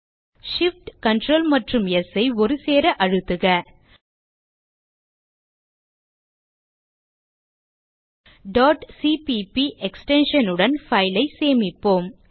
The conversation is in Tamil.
Shift Ctrl மற்றும் ஸ் ஐ ஒருசேர அழுத்துக cpp எக்ஸ்டென்ஷன் உடன் பைல் ஐ சேமிப்போம்